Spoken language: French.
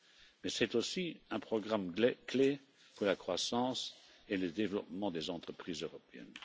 Mais c'est aussi un programme clé pour la croissance et le développement des entreprises européennes.